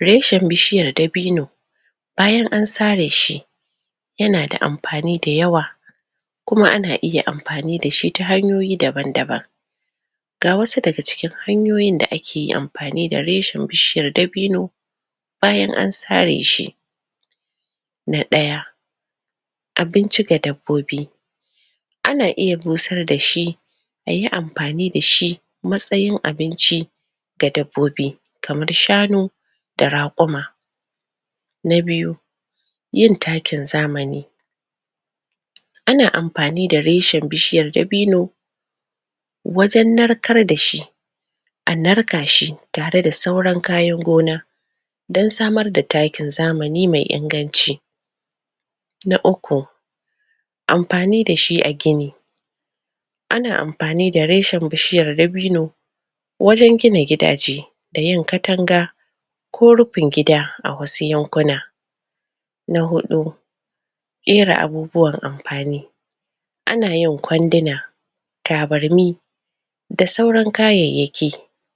reshin bishiyar dabino bayan ansare shi yana da amfani da yawa kuma ana iya amfani dashi ta hanyoyi daban daban ga wasu daga cikin hanyoyin da ake amfani da reshin bishiyar dabino bayan an sareshi na ɗaya abinci ga dabbobi ana iya busar dashi ayi amfani dashi matsayin abinci ga dabbobi kamar shanu da raƙuma na biyu yin takin zamani ana amfani da reshin bishiyar dabino wajannarkar da shi a narkashi tare da sauran kayan gona dan samar da takin zamani me inganci na uku amfani dashi a gini ana amfani da reshin bishiyar dabino wajan gina gidaje da yin katanga ko rufin gida a wasu yankuna na huɗu ƙera abubuwan amfani anayin ƙwanduna tabarmi da sauran kayayyaki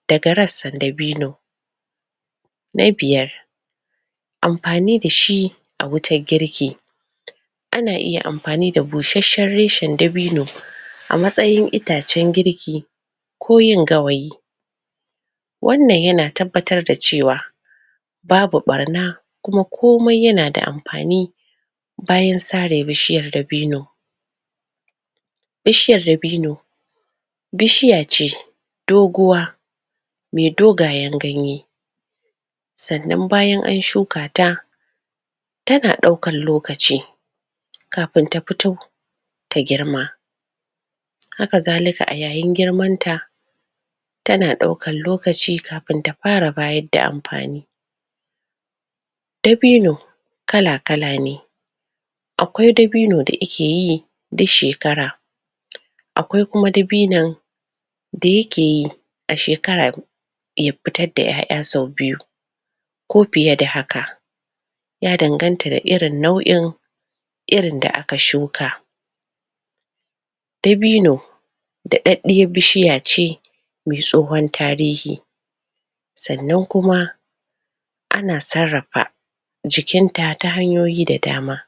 daga rassan dabino na biyar amfani dashi a wutar girki ana iya amfani da bushasshan reshan dabino a matsayin itacan girki ko yin gawayi wannan yana tabbatar da cewa babu ɓarna kuma komai yana da amfani bayan sare bishiyar dabino bishiyar daboni bishiya ce dogowa me dogon ganyaye sannan bayan an shukata tana ɗaukan lokaci kafin ta fito ta girma haka zalika a yayin girmanta tana ɗaukan lokaci kafin ta fara ba yadda amfani dabino dabino kala kala ne aƙwai dabino da ike yi du shekara aƙwai kuma dabinon da yakeyi a shekara ya fitar da ƴa'ƴa sau biyu ko fiye da haka ya danganta da irin nau'in irin da aka shuka dabino da ɗaɗɗiyar bishiyace me tsohun tarihi sannan kuma ana sarrafa jikinta ta hanyoyi da dama